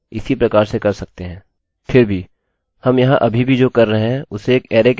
फिर भी हम यहाँ अभी भी जो कर रहे हैं उसे एक अरैarrayके अन्दर रख रहे हैं